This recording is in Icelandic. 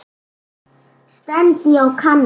stend ég og kanna.